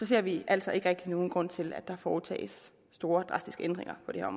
ser vi altså ikke rigtig nogen grund til at der foretages store og drastiske ændringer på det her